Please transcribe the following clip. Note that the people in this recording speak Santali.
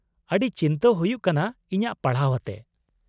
-ᱟᱹᱰᱤ ᱪᱤᱱᱛᱟᱹ ᱦᱩᱭᱩᱜ ᱠᱟᱱᱟ ᱤᱧᱟᱹᱜ ᱯᱟᱲᱦᱟᱣ ᱟᱛᱮ ᱾